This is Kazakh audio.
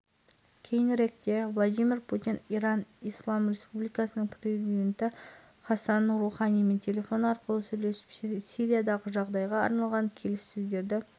қазақстан мен ресей президенттері алдағы кездесулер кестесін қарастырды қазақстан мен ресей президенттері алдағы кездесулер кестесін қарастырды